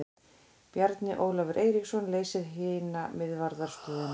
Bjarni Ólafur Eiríksson leysir hina miðvarðarstöðuna.